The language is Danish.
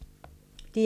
DR1